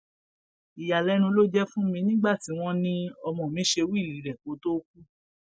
ìyàlẹnu ló jẹ fún mi nígbà tí wọn ní ọmọ mi ṣe wíìlì rẹ kó tóó kú